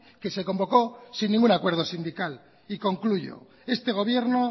que se convocó sin ningún acuerdo sindical y concluyo este gobierno